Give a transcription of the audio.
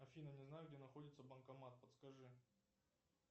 афина не знаю где находится банкомат подскажи